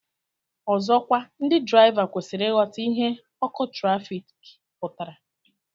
Ọzọkwa ndị draịva kwesịrị ịghọta ihe ọkụ trafik pụtara